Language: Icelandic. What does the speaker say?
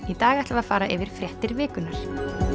í dag ætlum við að fara yfir fréttir vikunnar